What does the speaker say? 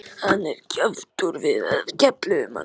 Hann er kjaftfor svo við kefluðum hann.